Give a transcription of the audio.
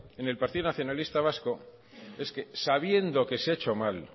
en el partido nacionalista vasco es que sabiendo que se ha hecho mal